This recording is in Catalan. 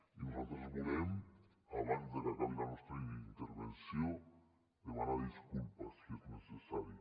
i nosaltres volem abans que acabi la nostra intervenció demanar disculpes si és necessari